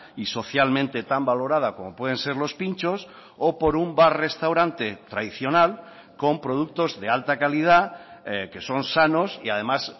y socialmente tan valorada como pueden ser los pintxos o por un bar restaurante tradicional con productos de alta calidad que son sanos y además